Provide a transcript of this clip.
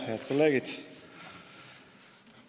Head kolleegid!